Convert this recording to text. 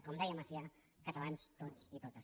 com deia macià catalans tots i totes